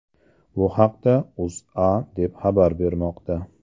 Bu haqda O‘zA deb xabar bermoqda .